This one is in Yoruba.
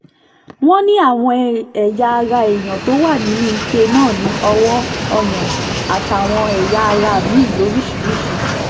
wọ́n ní àwọn ẹ̀yà ara èèyàn tó wà nínú ike náà ní owó ọyàn àtàwọn ẹ̀yà ara mi-ín lóríṣìíríṣìí